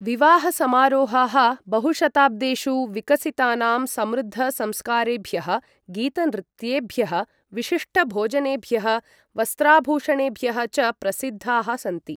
विवाहसमारोहाः बहुशताब्देषु विकसितानां समृद्ध संस्कारेभ्यः, गीतनृत्येभ्यः, विशिष्ट भोजनेभ्यः, वस्त्राभूषणेभ्यः च प्रसिद्धाः सन्ति।